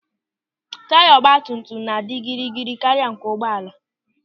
Taya ọgbatumtum na-adị gịrịgịrị karịa nke ụgbọala.